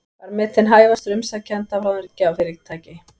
Var metinn hæfastur umsækjenda af ráðgjafarfyrirtæki